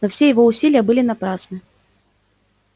но все его усилия были напрасны